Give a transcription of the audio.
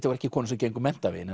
voru ekki konur sem gengu menntaveginn